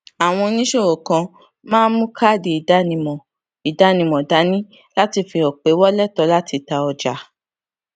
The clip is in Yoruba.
àwọn oníṣòwò kan máa ń mu káàdì ìdánimọ ìdánimọ dání láti fi hàn pé wọn létòó láti ta ọjà